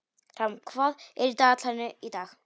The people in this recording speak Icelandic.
Ram, hvað er í dagatalinu í dag?